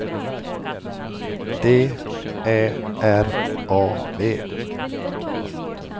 D Ä R A V